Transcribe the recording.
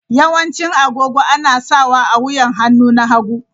Yawancin agogo ana sawa a wuyan hannu na hagu.